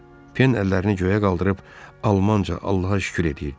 Pen əllərini göyə qaldırıb, almanca Allaha şükür eləyirdi.